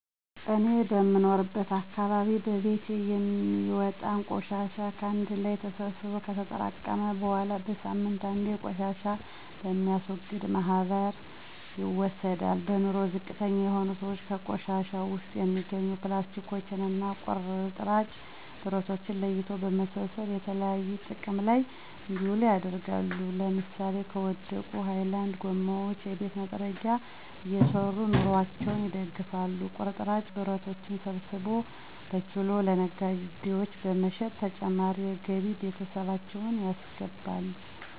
እኔ የምኖርበት አካባቢ በየቤቱ የሚወጣን ቆሻሻ ከአንድ ላይ ተሰብስቦ ከተጠራቀመ በኃላ በሳምንት አንዴ ቆሻሻ በሚያስወግድ ማህበር ይወሰዳል። በኑሮ ዝቅተኛ የሆኑ ስዎች ከቆሻሻው ውስጥ የሚገኙ ፕላስቲኮችን እና ቁርጥራጭ ብረቶችን ለይቶ በመሰብሰብ የተለያዩ ጥቅም ላይ እንዲውሉ ያደርጋሉ ለምሳሌ ከወደቁ ሀይላንድ ጎማዎች የቤት መጥረጊያ እየሰሩ ኑሮአቸውን ይደግፋሉ። ቁርጥራጭ ብረቶችን ሰብስቦ በኪሎ ለነጋዴዎች በመሸጥ ተጨማሪ ገቢ ለቤተሰባቸው ያስገባሉ።